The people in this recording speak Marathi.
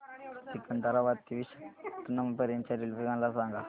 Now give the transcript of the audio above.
सिकंदराबाद ते विशाखापट्टणम पर्यंत च्या रेल्वे मला सांगा